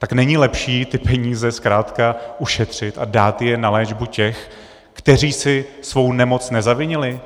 Tak není lepší ty peníze zkrátka ušetřit a dát je na léčbu těch, kteří si svou nemoc nezavinili?